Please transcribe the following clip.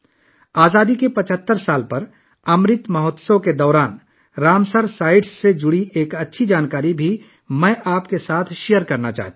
امرت مہوتسو کے دوران آزادی کے 75 سال پر، میں رامسر سائٹس سے متعلق کچھ اچھی معلومات آپ کے ساتھ شیئر کرنا چاہتا ہوں